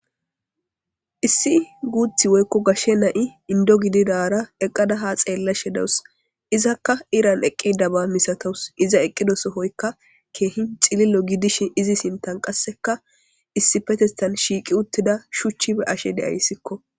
Issi guththi woyikko gashshe na'ay inde gidirara ha xelashshe de'awus izakka iran ikkidaba masatawus iza eqqida sohuwoyikka c'ililo gidishin izi sinittenikka issippeththethan shiqqidi uththida shuchi be'ayiskko.